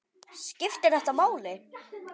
Skiptir þetta máli??